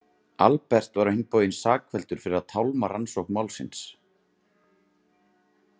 Albert var á hinn bóginn sakfelldur fyrir að tálma rannsókn málsins.